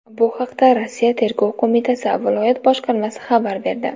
Bu haqda Rossiya Tergov qo‘mitasi viloyat boshqarmasi xabar berdi .